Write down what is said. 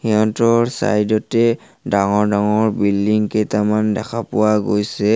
Side তে ডাঙৰ ডাঙৰ বিল্ডিং কেইটামান দেখা পোৱা গৈছে।